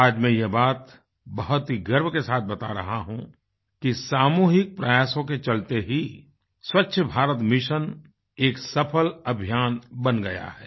आज मैं यह बात बहुत ही गर्व के साथ बता रहा हूँ कि सामूहिक प्रयासों के चलते ही स्वच्छ भारत मिशन एक सफल अभियान बन गया है